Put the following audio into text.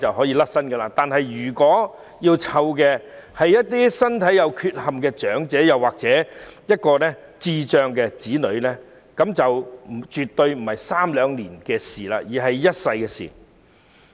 然而，當要照顧的是身體有缺陷的長者或智障子女時，那便絕對不是在三兩年間便可完成的任務，而是一輩子的事。